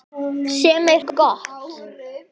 Sem er gott.